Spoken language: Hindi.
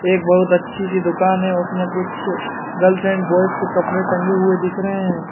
एक बहुत अच्छी सी दुकान है। उसमें कुछ गर्ल्स एंड बॉयस के कपड़े टंगे हुए दिख रहे हैं।